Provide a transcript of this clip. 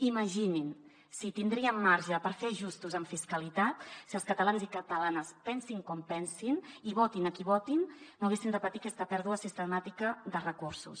imaginin si tindríem marge per fer ajustos en fiscalitat si els catalans i catalanes pensin com pensin i votin a qui votin no haguessin de patir aquesta pèrdua sistemàtica de recursos